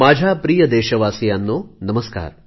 माझ्या प्रिय देशवासियांनो नमस्कार